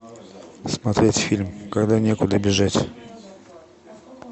смотреть фильм когда некуда бежать